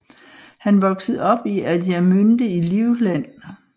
Han voksede op i Adiamünde i Livland